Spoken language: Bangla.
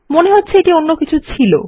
মনে হচ্ছে এটি অন্য কিছু ছিল